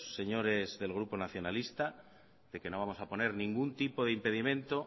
señores del grupo nacionalista de que no vamos a poner ningún tipo de impedimento